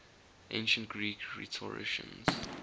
ancient greek rhetoricians